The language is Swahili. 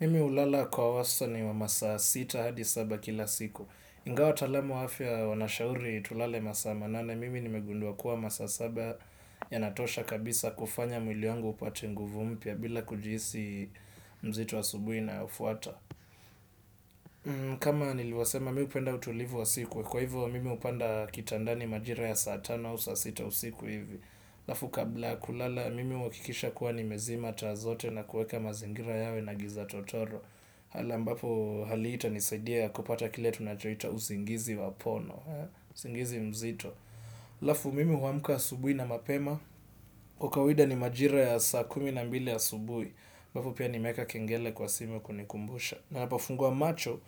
Mimi hulala kwa wastani wa masaa sita hadi saba kila siku. Ingawa wataalamu wa afya wanashauri tulale masaa manane, mimi nimegundua kuwa masaa saba yanatosha kabisa kufanya mwili wangu upate nguvu mpya bila kujihisi mzito asubuhi inayofuata. Kama nilivyosema mi hupenda utulivu wa siku. Kwa hivyo mimi hupanda kitandani majira ya saa tano au saa sita usiku hivi. Haafu kabla ya kulala mimi huhakikisha kuwa nimezima taa zote na kuweka mazingira yawe na giza totoro hali ambapo hali hii itanisaidia kupata kila tunachoita usingizi wa pono, usingizi mzito. Halafu mimi huamka asubuhi na mapema kwa kawaida ni majira ya saa kumi na mbili asubuhi ambapo pia nimeweka kengele kwa simu kunikumbusha. Na ninapofungua macho.